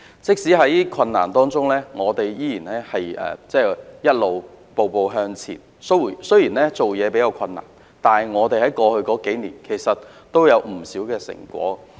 即使在困難當中，我們仍然步步向前，雖然做事比較困難，但過去數年的工作其實也有不少成果。